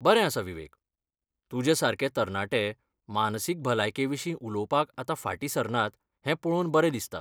बरें आसा विवेक, तुज्या सारके तरणाटे मानसीक भलायके विशीं उलोवपाक आतां फाटीं सरनात हें पळोवन बरें दिसता.